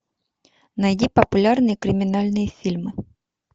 найди популярные криминальные фильмы